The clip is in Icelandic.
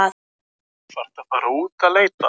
Í bekknum hans var agi.